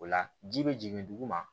O la ji be jigin duguma